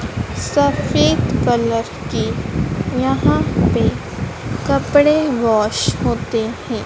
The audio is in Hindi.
सफेद कलर की यहां पे कपड़े वॉश होते हैं।